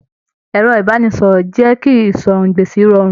Ẹrọ ibaraẹnisọrọ jẹ kí ìsọ̀rọ̀-n-gbèsì rọrùn.